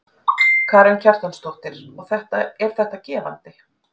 Karen Kjartansdóttir: Og er þetta gefandi?